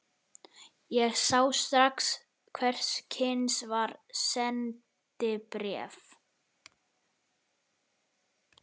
Ég sá strax hvers kyns var: SENDIBRÉF